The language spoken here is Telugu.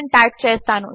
అని టైప్ చేస్తాను